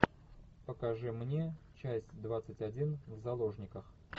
покажи мне часть двадцать один в заложниках